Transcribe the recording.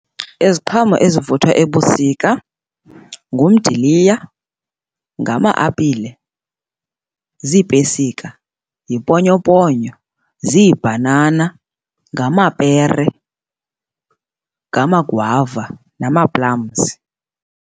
Iziqhamo ezivuthwa ebusika ngumdiliya, ngama-apile, ziipesika, yiponyoponyo, ziibhanana, ngamapere, ngamagwava nama-plums.